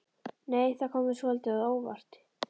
Nei! Það kom mér svolítið á óvart!